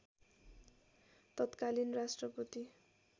तत्कालीन राष्ट्रपति